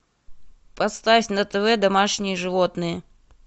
поставь на тв домашние животные